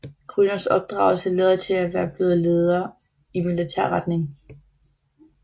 Grüners opdragelse lader til at være blevet ledet i militær retning